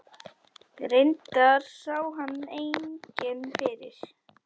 Reyndar sá hann enginn fyrir.